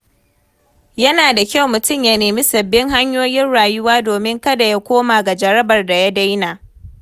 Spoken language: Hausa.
Yana da kyau mutum ya nemi sababbin hanyoyin rayuwa domin kada ya koma ga jarabar da ya daina.